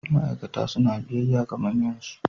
Ma'aikata suna biyayya ga manyansu.